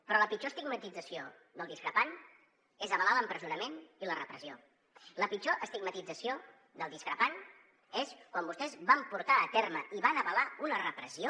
però la pitjor estigmatització del discrepant és avalar l’empresonament i la repressió la pitjor estigmatització del discrepant va ser quan vostès van portar a terme i van avalar una repressió